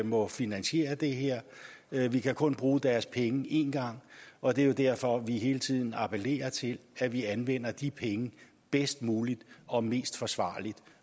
må finansiere det her vi kan kun bruge deres penge én gang og det er derfor vi hele tiden appellerer til at vi anvender de penge bedst muligt og mest forsvarligt